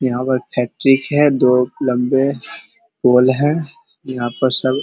यहाँ फैक्ट्री है दो लम्बे यहाँ पर सब --